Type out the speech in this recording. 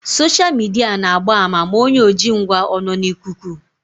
Soshal midia na-agba àmà ma onye ojingwa ọ nọ n'ikuku